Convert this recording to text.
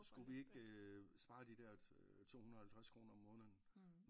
Skulle vi ikke sparer de der to hundrede halvtreds kroner om måneden